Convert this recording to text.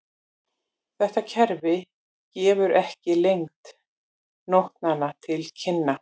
Þetta kerfi gefur ekki lengd nótnanna til kynna.